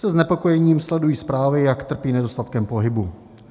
Se znepokojením sleduji zprávy, jak trpí nedostatkem pohybu.